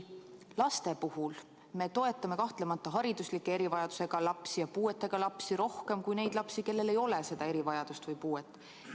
Laste puhul me toetame kahtlemata hariduslike erivajadustega lapsi ja puuetega lapsi rohkem, kui neid lapsi, kellel ei ole seda erivajadust või puuet.